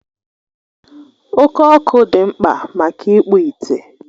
Oke Ọkụ dị mkpa maka ịkpụ ite.